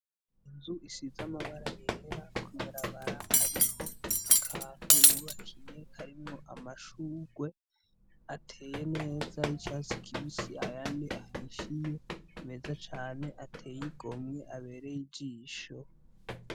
Inzu isize amabara yera kubarabara ariho akantu wubakiye karimwo amashurwe ateye neza y'icatsi kibisi ayandi ahishiye meza cane ateye igomwe abereye ijisho.